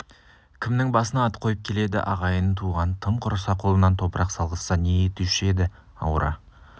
кімнің басына ат қойып келеді ағайын туған тым құрса қолынан топырақ салғызса не етуші еді ауыра